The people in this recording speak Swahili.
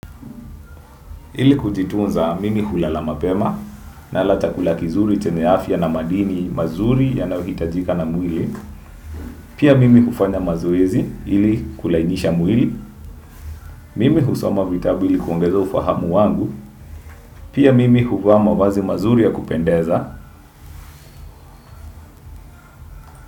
Hili kujitunza mimi hulala mapema nala chakula kizuri teneafia na madini mazuri yanahitajika na mwili. Pia mimi hufanya mazoezi hili kulainisha mwili. Mimi husoma vitabu ili kuongeza ufahamu wangu. Pia mimi huvaa wazi mazuri ya kupendeza.